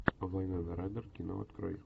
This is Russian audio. вайнона райдер кино открой